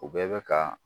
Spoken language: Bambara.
U bɛɛ bɛ ka